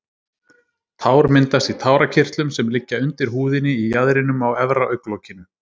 Tár myndast í tárakirtlum sem liggja undir húðinni í jaðrinum á efra augnlokinu.